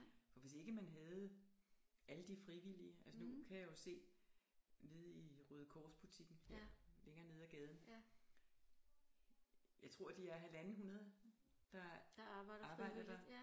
For hvis ikke man havde alle de frivillige altså nu kan jeg jo se nede i Røde Kors butikken her længere nede ad gaden jeg tror de er halvanden hundrede der arbejder der